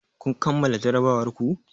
Kun kammala jarrabawar ku?